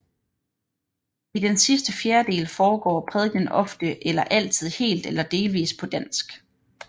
I den sidste fjerdedel foregår prædikenen ofte eller altid helt eller delvis på dansk